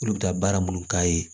Olu bɛ taa baara munnu k'a ye